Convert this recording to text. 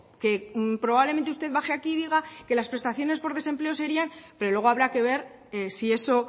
que probablemente usted baje aquí y diga que las prestaciones por desempleo serían pero luego habrá que ver si eso